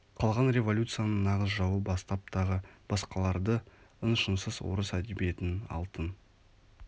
қалған революцияның нағыз жауы бастап тағы басқаларды ың-шыңсыз орыс әдебиетінің алтын